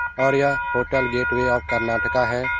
और यहाँ hotel gateway of Karnataka है ।